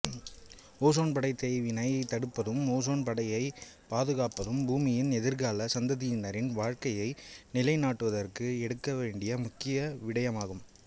ozone படை தேய்வினை தடுப்பதும் ஓசோன் படையை பாதுகாப்பதும் பூமியின் எதிர்கால சந்ததியினரின் வாழ்க்கையை நிலைநாட்டுவதற்கு எடுக்கவேண்டிய முக்கிய விடயமாகும்